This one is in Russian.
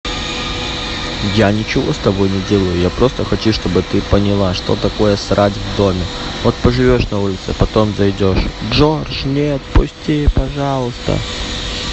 я ничего с тобой не делаю я просто хочу что бы ты поняла что такое срать в доме вот поживешь на улице потом зайдешь джордж нет пусти пожалуйста